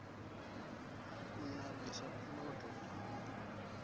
u navhisa puloto na u